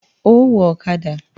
Ó wọ ọ̀kadà!